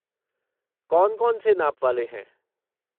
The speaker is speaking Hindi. कौन कौन से नाप वाले हैं?